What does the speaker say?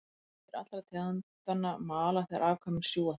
Kvendýr allra tegundanna mala þegar afkvæmin sjúga þær.